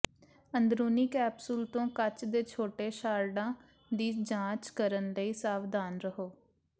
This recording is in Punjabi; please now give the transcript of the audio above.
ਅੰਦਰੂਨੀ ਕੈਪਸੂਲ ਤੋਂ ਕੱਚ ਦੇ ਛੋਟੇ ਸ਼ਾਰਡਾਂ ਦੀ ਜਾਂਚ ਕਰਨ ਲਈ ਸਾਵਧਾਨ ਰਹੋ